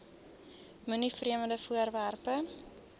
moenie vreemde voorwerpe